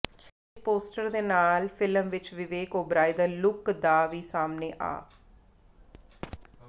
ਇਸ ਪੋਸਟਰ ਦੇ ਨਾਲ ਹੀ ਫਿਲਮ ਵਿੱਚ ਵਿਵੇਕ ਓਬਰਾਏ ਦਾ ਲੁਕ ਦਾ ਵੀ ਸਾਹਮਣੇ ਆ